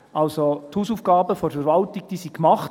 Also, die Hausaufgaben der Verwaltung wurden gemacht.